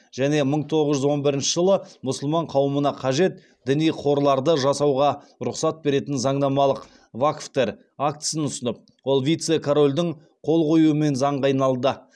және мың тоғыз жүз он бірінші жылы мұсылман қауымына қажет діни қорларды жасауға рұқсат беретін заңнамалық вакфтер актісін ұсынып ол вице корольдің қол қоюымен заңға айналды